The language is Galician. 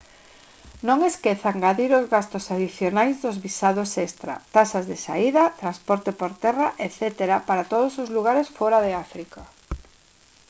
non esqueza engadir os gastos adicionais dos visados extra taxas de saída transporte por terra etc para todos os lugares fóra de áfrica